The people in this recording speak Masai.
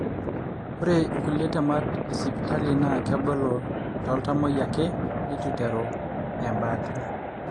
ore kulie temat e siitali na kebolo toltamoyia ake letu iteru embaata.